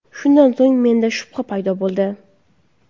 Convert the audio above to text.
Shundan so‘ng menda shubha paydo bo‘ldi.